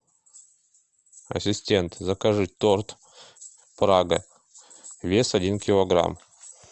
ассистент закажи торт прага вес один килограмм